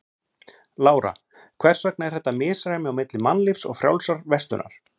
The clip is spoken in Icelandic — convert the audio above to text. Lára: Hvers vegna er þetta misræmi á milli Mannlífs og Frjálsrar verslunar?